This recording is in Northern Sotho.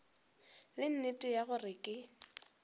le nnete ya gore ke